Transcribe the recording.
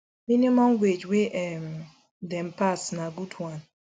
minimum wage wey um dem pass na good one